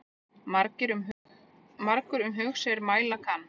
Margur um hug sér mæla kann.